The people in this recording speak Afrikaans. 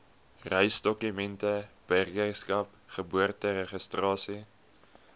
reisdokumente burgerskap geboorteregistrasie